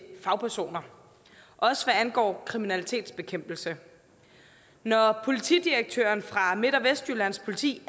fagpersoner også hvad angår kriminalitetsbekæmpelse når politidirektøren fra midt og vestjyllands politi